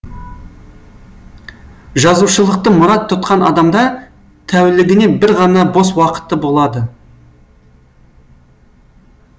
жазушылықты мұрат тұтқан адамда тәулігіне бір ғана бос уақыты болады